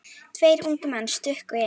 Tveir ungir menn stukku inn.